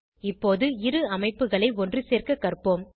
இப்போது இரு அமைப்புகளை ஒன்றுசேர்க்க கற்போம்